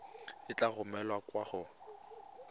e tla romelwa kwa go